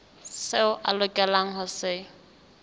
seo a lokelang ho se